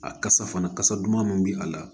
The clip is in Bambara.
A kasa fana kasa duman min bɛ a la